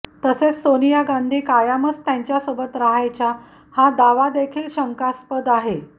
तसेच सोनिया गांधी कायमच त्यांच्यासोबत राहायच्या हा दावादेखील शंकास्पद आहे